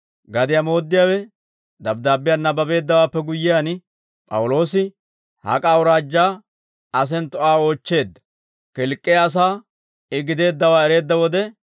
Gadiyaa mooddiyaawe dabddaabbiyaa nabbabeeddawaappe guyyiyaan, P'awuloosi hak'a awuraajjaa asentto Aa oochcheedda; Kilk'k'iyaa asaa I gideeddawaa ereedda wode,